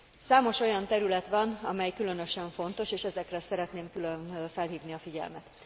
Számos olyan terület van, amely különösen fontos, és ezekre szeretném külön felhívni a figyelmet.